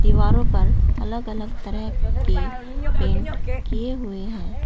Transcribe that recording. दीवारो पर अलग अलग तरह के पेंट किए हुए हैं।